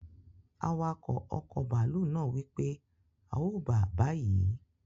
Awakọ̀ ọkọ̀ bàálù naa wípé, a o bàa bayi!